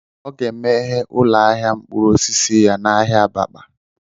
O ga emeghe ụlọ ahịa mkpụrụ osisi ya n'ahịa abakpa